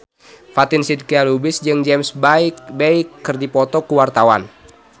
Fatin Shidqia Lubis jeung James Bay keur dipoto ku wartawan